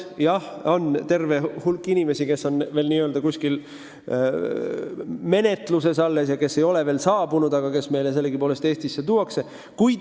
Jah, on terve hulk inimesi, kelle taotlused on veel kuskil menetluses ja kes ei ole veel siia saabunud, aga kes millalgi siiski Eestisse tuuakse.